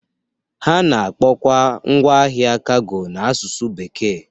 Ha na-akpọkwa ngwa ahịa kago n'asụsụ bekee